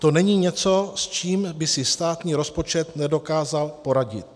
To není něco, s čím by si státní rozpočet nedokázal poradit.